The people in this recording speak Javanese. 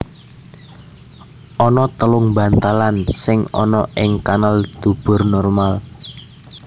Ana telung bantalan sing ana ing kanal dubur normal